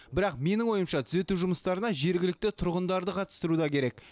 бірақ менің ойымша түзету жұмыстарына жергілікті тұрғындарды қатыстыру да керек